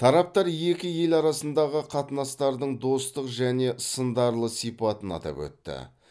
тараптар екі ел арасындағы қатынастардың достық және сындарлы сипатын атап өтті